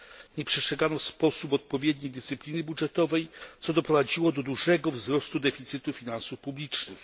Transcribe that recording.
Nie przestrzegano w sposób odpowiedni dyscypliny budżetowej, co doprowadziło do dużego wzrostu deficytu finansów publicznych.